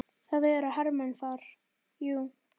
Það eru hermenn þar, jú.